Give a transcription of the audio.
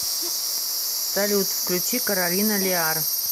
салют включи каролина лиар